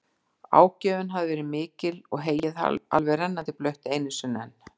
Ágjöfin hafði verið mikil og heyið alveg rennandi blautt einu sinni enn.